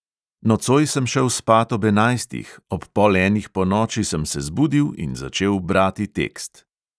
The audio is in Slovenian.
Nocoj sem šel spat ob enajstih, ob pol enih ponoči sem se zbudil in začel brati tekst.